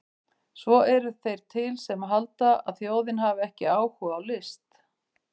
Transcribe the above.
Svo eru þeir til sem halda að þjóðin hafi ekki áhuga á list!